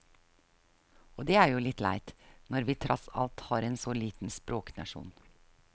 Og det er jo litt leit, når vi tross alt er en så liten språknasjon.